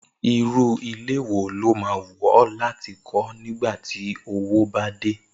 Irú ilé wo ló máa wù ó̩ láti kó̩ nígbà ti owó bá dé?